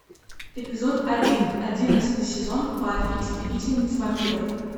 эпизод один одиннадцатый сезон баффи истребительница вампиров